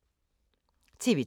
TV 2